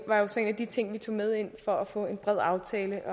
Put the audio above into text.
var jo så en af de ting vi tog med ind for at få en bred aftale